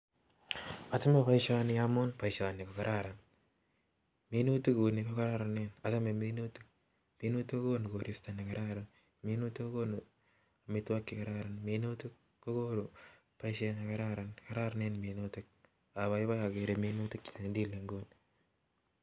Achame boishonii amun boishonii ko.kararan minutik kounii ko konu korista negararan apai. pai agere. minutik cheuchuuu